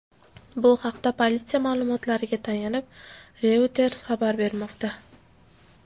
Bu haqda politsiya ma’lumotlariga tayanib Reuters xabar bermoqda .